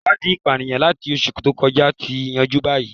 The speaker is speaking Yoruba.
Iwadii ipaniyan lati oṣu to kọja ti yanju bayi